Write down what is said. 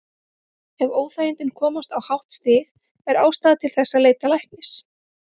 Ef óþægindin komast á hátt stig er ástæða til þess að leita læknis.